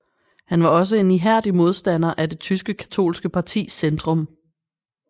Han var også en ihærdig modstander af det tyske katolske parti Zentrum